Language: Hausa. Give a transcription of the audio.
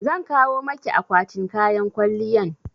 Zan kawo maki akwatin kayan kwalliyan